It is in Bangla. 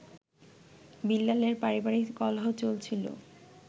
বিল্লালের পারিবারিক কলহ চলছিল